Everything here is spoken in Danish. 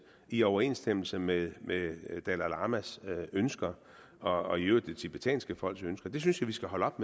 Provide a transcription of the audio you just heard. i overensstemmelse med med det dalai lamas ønsker og i øvrigt det tibetanske folks ønsker det synes jeg vi skal holde op